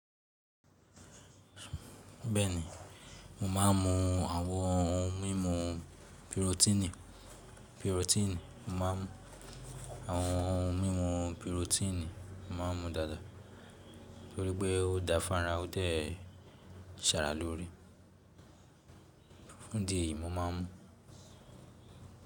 Bẹ́ẹ̀ni, mo máa ń mú àwọn ohun mímu pirotini. Pirotini, mo máa ń mu àwọn ohun mímu pirotini, mo máa ń mú dáadáa, torípé ó dáfàrá, ó ṣẹ̀ árá lórí. Fún idí eyi mo máa ń mú.